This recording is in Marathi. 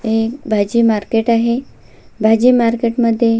हे भाजी मार्केट आहे भाजी मार्केट मध्ये--